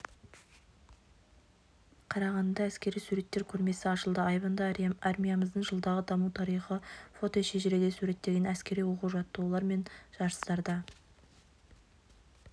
қарағандыда әскери суреттер көрмесі ашылды айбынды армиямыздың жылдағы даму тарихы фотошежіреде суреттелген әскери оқу-жаттығулар мен жарыстарда